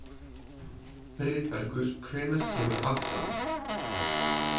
Friðbergur, hvenær kemur áttan?